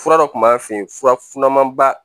Fura dɔ kun b'an fɛ yen furafuraba